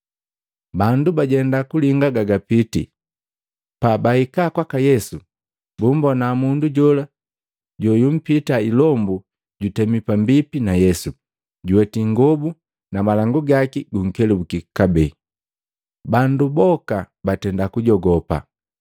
Bandu bajenda kulinga ga gapiiti, pabahika kwaka Yesu, bumbona mundu jola joyumpitaa ilombu jutemi pambipi na Yesu, juweti ingobu, malangu gaki gunkelubuki kabee. Bandu boka batenda kujogopa.